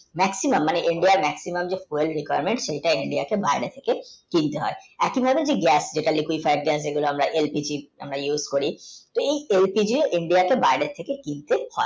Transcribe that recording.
Maximum মানে india আর Maximum যে Oil diparmed সেইটা আছে বারিয়ে থাকে কিনতে হয় একচলি মানে গ্যাস মানে আমরা lpci আমরা yus করি তো এই টেলটিকে india কে বারিয়ে থেকে কিনতে হয়